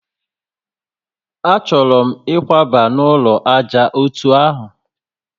A chọrọ m ikwaba n'ulo ájá ọtọ ahụ